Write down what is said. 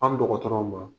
An dɔgɔtɔrɔw ma